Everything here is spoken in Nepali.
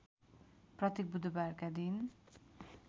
प्रत्येक बुधबारका दिन